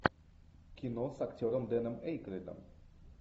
кино с актером дэном эйкройдом